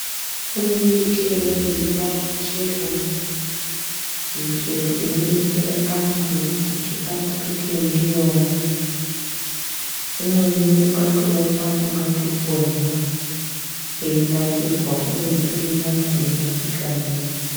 Kune mimbiti imweni inobara michero, michero inodetsera antu kuti arapike ndiyona umweni ungatoona ungati kurya einakirwa kubeni unenge eitorapika ndiyo.